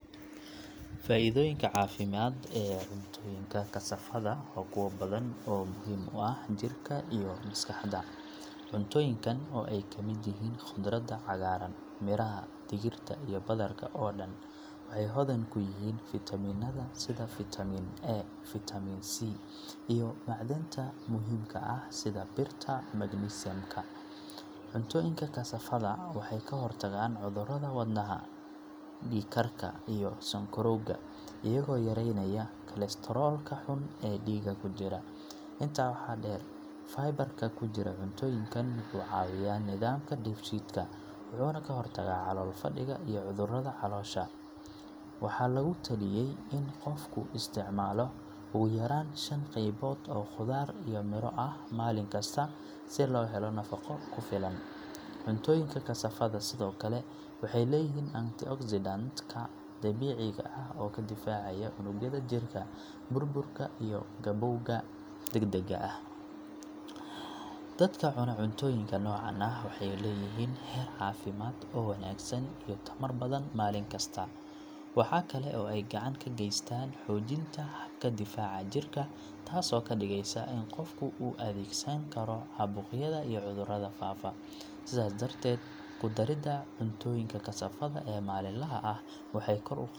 Faa’iidooyinka caafimaad ee cuntooyinka kasaafada waa kuwo badan oo muhiim u ah jirka iyo maskaxda. Cuntooyinkan oo ay ka mid yihiin khudradda cagaaran, miraha, digirta, iyo badarka oo dhan waxay hodan ku yihiin fiitamiinnada sida fiitamiin A, fiitamiin C, iyo macdanta muhiimka ah sida birta iyo magnesium-ka. Cuntooyinka kasaafada waxay ka hortagaan cudurrada wadnaha, dhiig karka, iyo sonkorowga iyagoo yareynaya kolestaroolka xun ee dhiigga ku jira. Intaa waxaa dheer, fiber-ka ku jira cuntooyinkan wuxuu caawiyaa nidaamka dheef-shiidka, wuxuuna ka hortagaa calool fadhiga iyo cudurrada caloosha. Waxaa lagu taliyay in qofku isticmaalo ugu yaraan shan qaybood oo khudaar iyo miro ah maalin kasta si loo helo nafaqo ku filan. Cuntooyinka kasaafada sidoo kale waxay leeyihiin antioxidant-ka dabiiciga ah oo ka difaacaya unugyada jirka burburka iyo gabowga degdega ah. Dadka cunaa cuntooyinka noocan ah waxay leeyihiin heer caafimaad oo wanaagsan iyo tamar badan maalin kasta. Waxa kale oo ay gacan ka geystaan xoojinta habka difaaca jirka, taasoo ka dhigaysa in qofku u adkeysan karo caabuqyada iyo cudurrada faafa. Sidaas darteed, ku darida cuntooyinka kasaafada ee maalinlaha ah waxay kor u qadaa.